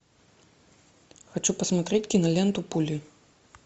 хочу посмотреть киноленту пули